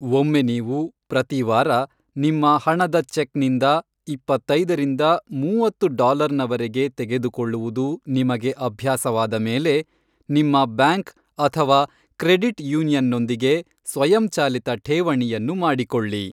ಒಮ್ಮೆ ನೀವು ಪ್ರತಿ ವಾರ ನಿಮ್ಮ ಹಣದ ಚೆಕ್ನಿಂದ ಇಪ್ಪತ್ತೈದರಿಂದ ಮೂವತ್ತು ಡಾಲರ್ನ ವರೆಗೆ ತೆಗೆದುಕೊಳ್ಳುವುದು ನಿಮಗೆ ಅಭ್ಯಾಸವಾದ ಮೇಲೆ, ನಿಮ್ಮ ಬ್ಯಾಂಕ್ ಅಥವಾ ಕ್ರೆಡಿಟ್ ಯೂನಿಯನ್ನೊಂದಿಗೆ ಸ್ವಯಂಚಾಲಿತ ಠೇವಣಿಯನ್ನು ಮಾಡಿಕೊಳ್ಳಿ.